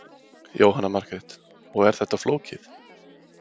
Jóhanna Margrét: Og er þetta flókið?